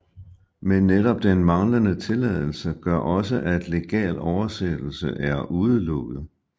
Men netop den manglende tilladelse gør også at legal oversættelse er udelukket